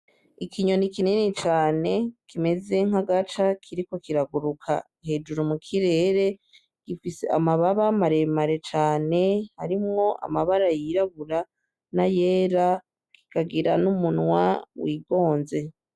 Ikinyoni kinini cane kimeze nk'agaca kiriko kiraguruka hejuru mu kirere, gifise amababa maremare cane arimwo amabara yirabura n'ayera, kikagira n'umunwa wigonze.